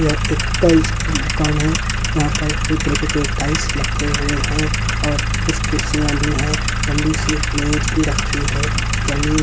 यह एक टाइल्स की दुकान है यहां पर पूरी तरीके के टाइल्स लगे हुए हैं और कुछ कुर्सियां भी है लंबी सी मेज भी रखी है जमीन --